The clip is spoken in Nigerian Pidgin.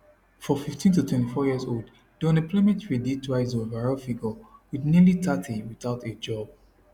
for 15to24yearolds diunemployment rate dey twice di overall figure wit nearly thirty without a job